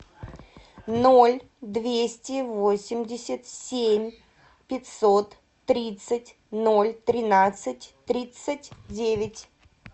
ноль двести восемьдесят семь пятьсот тридцать ноль тринадцать тридцать девять